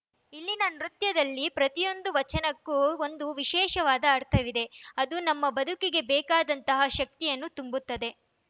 ಇಲ್ಲಿನ ನೃತ್ಯದಲ್ಲಿನ ಪ್ರತಿಯೊಂದು ವಚನಕ್ಕೂ ಒಂದು ವಿಶೇಷವಾದ ಅರ್ಥವಿದೆ ಅದು ನಮ್ಮ ಬದುಕಿಗೆ ಬೇಕಾದಂತಹ ಶಕ್ತಿಯನ್ನು ತುಂಬುತ್ತದೆ